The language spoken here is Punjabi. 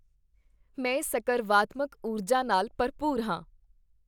ਮੈਂ ਸਕਰਵਾਤਮਕ ਊਰਜਾ ਨਾਲ ਭਰਪੂਰ ਹਾਂ।